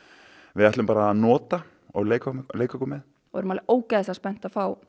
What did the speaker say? við ætlum bara að nota og leika leika okkur með við erum alveg ógeðslega spennt að fá